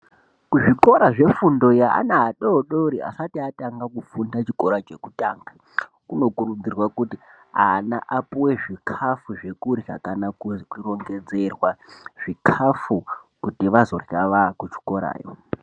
Kuzvikora zvefundo yevana adodori asati atanga kufunda chikora chekutanga kunokurudzirwa kuti ana apuwe zvikafu zvekurya kana kurongedzerwa zvikafu kuti vazotanga kuchikora.